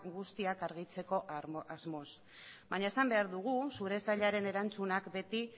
guztiak argitzeko asmoz baina esan behar dugu zure sailaren erantzunak beti